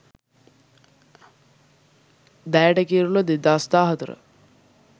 dayata kirula 2014